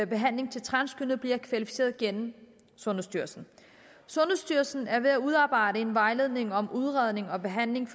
behandling til transkønnede bliver kvalificeret gennem sundhedsstyrelsen sundhedsstyrelsen er ved at udarbejde en vejledning om udredning og behandling